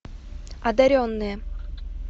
одаренные